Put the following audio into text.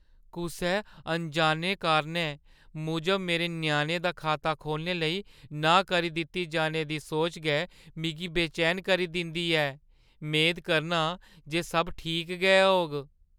कुसै अनजाने कारणें मूजब मेरे ञ्याणे दा खाता खोह्‌लने लेई नांह् करी दित्ती जाने दी सोच गै मिगी बेचैन करी दिंदी ऐ। मेद करना आं जे सब ठीक गै होग।